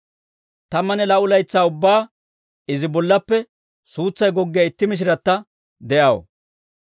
Tammanne laa"u laytsaa ubbaa izi bollaappe suutsay goggiyaa itti mishiratta de'aw.